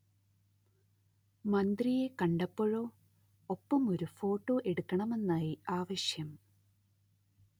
മന്ത്രിയെ കണ്ടപ്പോഴോ ഒപ്പമൊരു ഫോട്ടോ എടുക്കണമെന്നായി ആവശ്യം